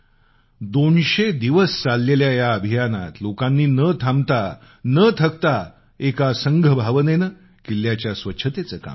दोनशे दिवस चाललेल्या या अभियानात लोकांनी न थांबता न थकता एका संघभावनेनं किल्ल्याच्या स्वच्छतेचं काम केलं